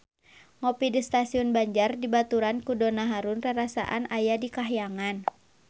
Ngopi di Stasiun Banjar dibaturan ku Donna Harun rarasaan aya di kahyangan